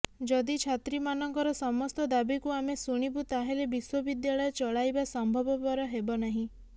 ଯଦି ଛାତ୍ରୀମାନଙ୍କର ସମସ୍ତ ଦାବିକୁ ଆମେ ଶୁଣିବୁ ତାହେଲେ ବିଶ୍ୱବିଦ୍ୟାଳୟ ଚଳାଇବା ସମ୍ଭବପର ହେବନାହିଁ